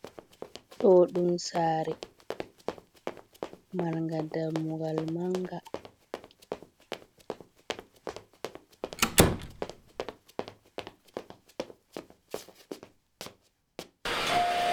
Ɗo ɗum sare marga ɗammugal manga.